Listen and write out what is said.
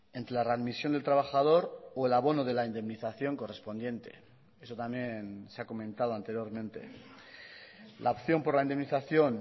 entre la readmisión del trabajador o el abono de la indemnización correspondiente eso también se ha comentado anteriormente la opción por la indemnización